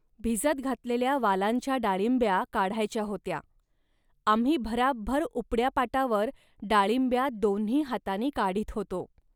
भिजत घातलेल्या वालांच्या डाळिंब्या काढायच्या होत्या. आम्ही भराभर उपड्या पाटावर डाळिंब्या दोन्ही हातांनी काढीत होतो